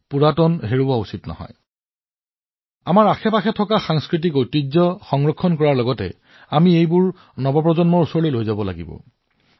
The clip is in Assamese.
নতুন প্ৰজন্মৰ ওচৰলৈ আমাৰ চৌদিশৰ অপৰিসীম সাংস্কৃতিক ঐতিহ্যক প্ৰচাৰ কৰিবলৈ আমি অতি কঠোৰ পৰিশ্ৰম কৰিব লাগিব